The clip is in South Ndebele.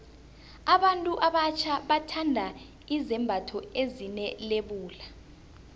abantu abatjha bathanda izembatho ezine lebula